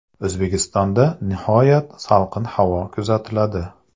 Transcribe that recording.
O‘zbekistonda nihoyat salqin havo kuzatiladi.